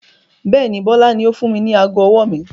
Bẹ́ẹ̀ni, Bọlá ni ó fún mi ní aago ọwọ́ mi.